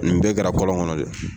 Nin bɛɛ kɛra kɔlɔn kɔnɔ dɛ.